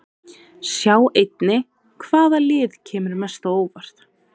Sjá einnig: Hvaða lið kemur mest á óvart?